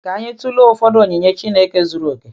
Ka anyị tụlee ụfọdụ onyinye Chineke zuru okè.